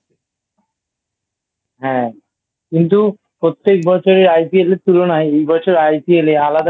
হ্যাঁ কিন্তু প্রত্যেক বছরের IPL এর তুলনায় এই বছর IPL একটু আলাদা